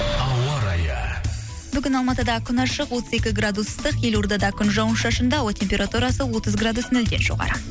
ауа райы бүгін алматыда күн ашық отыз екі градус ыстық елорада күн жауын шашынды ауа температурасы отыз градус нөлден жоғары